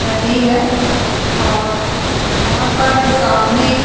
नदी है और यहां पर सामने --